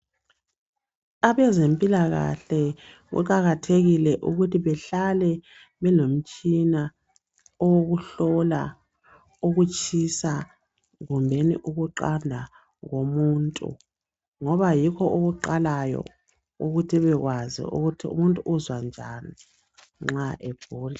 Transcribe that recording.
Abezempilakahle kuqakathekile ukuthi behlale belomtshina owokuhlola ukutshisa kumbeni ukuqanda komuntu ngoba yikho okuqalayo ukuthi ebekwazi ukuthi umuntu uzwa njani nxa egula.